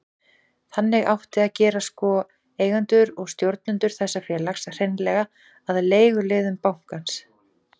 Þannig átti að gera sko, eigendur og stjórnendur þessa félags, hreinlega að leiguliðum bankans.